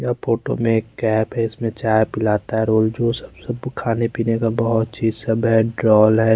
यह फोटो में एक कैप है इसमें चाय पिलाता है रोल जूस सब सब खाने पीने का बहोत चीज सब है ड्रॉल है।